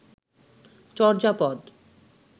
Charyapada